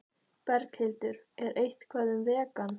Berghildur: Er eitthvað um vegan?